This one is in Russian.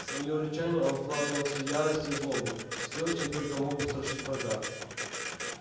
в своё рычание он вкладывал всю ярость и злобу всё чем только мог устрашить врага